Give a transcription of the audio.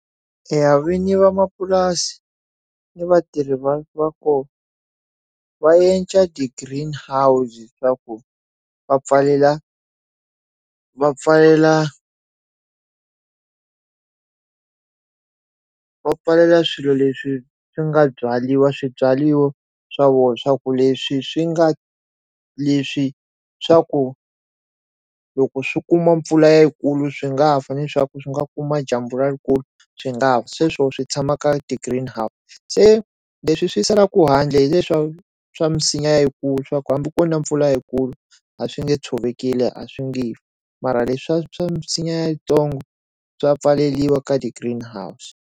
Eya vini vamapurasi ni vatirhi va va kona va endla the green house ta ku va pfalela va pfalela va pfalela swilo leswi swi nga byaliwa swibyariwa swa vona swa ku leswi swi nga leswi swa ku loko swi kuma mpfula yikulu swi nga fa ni leswaku swi nga kuma dyambu ra rikulu swi nga sweswo swi tshama ka ti green se leswi swi salaku handle hileswaku swa minsinya hikulu swaku hambi ko na mpfula hikulu a swi nge tshovekele a swi nge mara leswa swa misinya ya yitsongo swa pfaleriwa ka ti green house.